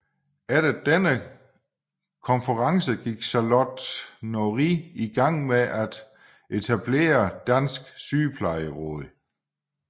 Efter denne konference gik Charlotte Norrie i gang med at etablere Dansk Sygeplejeråd